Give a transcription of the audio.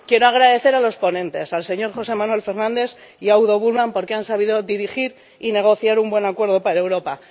Quiero agradecer a los ponentes, los señores José Manuel Fernandes y Udo Bullmann, porque han sabido dirigir y negociar un buen acuerdo para Europa.